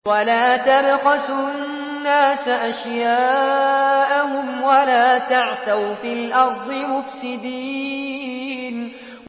وَلَا تَبْخَسُوا النَّاسَ أَشْيَاءَهُمْ وَلَا تَعْثَوْا فِي الْأَرْضِ مُفْسِدِينَ